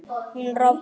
hún rofni